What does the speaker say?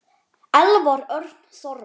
Elvar Örn Þormar.